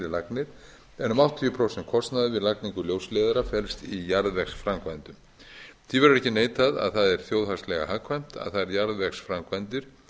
lagnir en um áttatíu prósent kostnaðar við lagningu ljósleiðara felst í jarðvegsframkvæmdum því betur ekki neitað að það er þjóðhagslega hagkvæmt að þær jarðvegsframkvæmdir